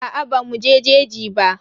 Aa bamu je jeji ba.